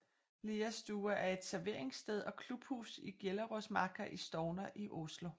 Liastua er et serveringssted og klubhus i Gjelleråsmarka i Stovner i Oslo